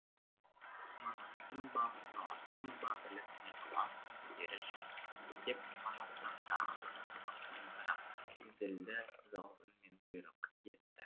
манаспын ба таласпын ба біліп не қыласын бері жүр деп манас тағы да ақырын дауыспен бірақ зілді ызалы үнмен бұйрық етті